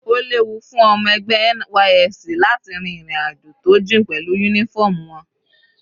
Ó léwu fún ọmọ ẹgbẹ́ NYSC láti rin ìrìn àjò tó jìn pẹ̀lú uniform wọn.